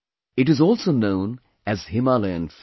It is also known as Himalayan Fig